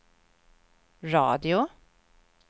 radio